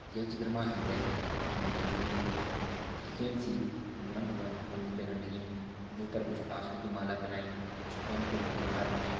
ये चित्र मा हम त एक मूर्ति दिखेण लगीं जू दिखेण से हनुमान भगवान की मूर्ति लगण लगीं जूं पर कुछ प्लास्टिक की माला पनाई कुछ वन फूलों की माला पनाई।